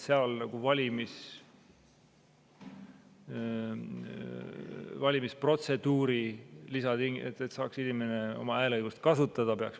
Seal peaks valimisprotseduuri lisama mingi tingimuse, et inimene saaks oma hääleõigust kasutada.